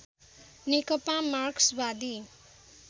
नेकपा मार्क्सवादी